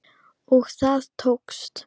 Og það tókst!